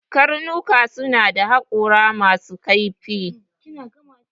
Dogs have sharp teeth